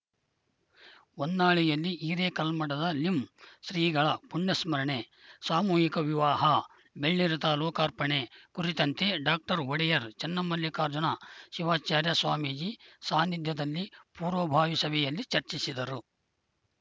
ಹೊನ್ನಾಳಿಯಲ್ಲಿ ಹಿರೇಕಲ್ಮಠದ ಲಿಂ ಶ್ರೀಗಳ ಪುಣ್ಯಸಂಸ್ಮರಣೆ ಸಾಮೂಹಿಕ ವಿವಾಹ ಬೆಳ್ಳಿರಥ ಲೋಕಾರ್ಪಣೆ ಕುರಿತಂತೆ ಡಾಕ್ಟರ್ ಒಡೆಯರ್‌ ಚನ್ನಮಲ್ಲಿಕಾರ್ಜುನ ಶಿವಾಚಾರ್ಯ ಸ್ವಾಮೀಜಿ ಸಾನಿಧ್ಯದಲ್ಲಿ ಪೂರ್ವಭಾವಿ ಸಭೆಯಲ್ಲಿ ಚರ್ಚಿಸಿದರು